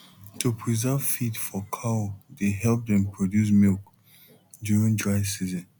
to preserve feed for cow dey help dem produce milk during dry season